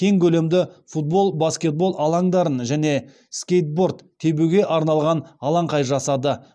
кең көлемді футбол баскетбол алаңдарын және скейтборд тебуге арналған алаңқай жасады